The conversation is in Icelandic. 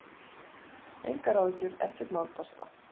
Engar áhyggjur, ekkert mál, basta!